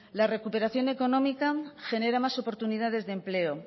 la recuperación económica genera más oportunidades de empleo